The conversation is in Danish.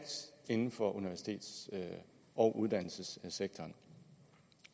inden for universitets og uddannelsessektoren